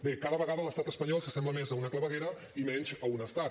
bé cada vegada l’estat espanyol s’assembla més a una claveguera i menys a un estat